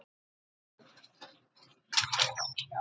Var hann aldrei í vafa um að taka hana?